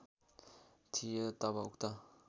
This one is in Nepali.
थियो तब उक्त